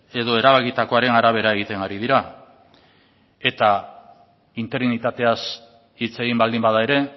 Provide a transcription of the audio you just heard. edo erabakitakoaren arabera egiten ari dira eta interinitateaz hitz egin baldin bada ere